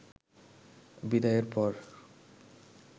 বিদায়ের পর